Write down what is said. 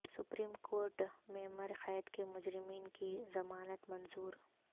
supreme court میںعمر قید کے مجرمین کی ضمانت منظور